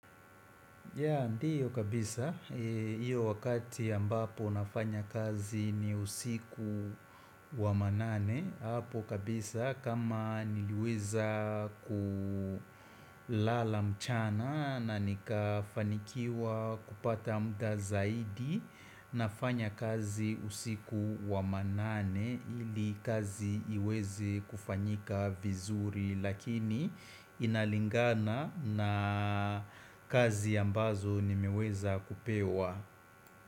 Ya ndiyo kabisa, iyo wakati ambapo nafanya kazi ni usiku wa manane Apo kabisa kama niliweza kulala mchana na nikafanikiwa kupata mda zaidi nafanya kazi usiku wa manane ili kazi iweze kufanyika vizuri Lakini inalingana na kazi ambazo nimeweza kupewa.